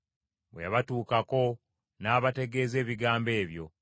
Bwe yabatuukako n’abategeeza ebigambo ebyo.